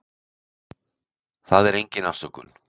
Það er engin afsökun.